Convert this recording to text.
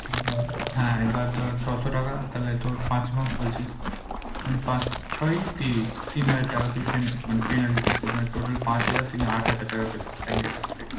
হ্যাঁ, এবার ধর ছশো টাকা তাহলে তোর পাঁচ মাস বলছিস মানে পাঁচ ছয় ত্রিশ, তিন হাজার টাকা তুই পেনা~ মানে penalty পেতিস মানে total পাঁচ হাজার তিনে আট হাজার টাকা পেতিস bank এর কাছ থেকে।